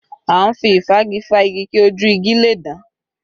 À ń fi ìfági fá igi kí ojú igi le dán